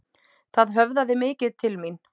Það höfðaði mikið til mín.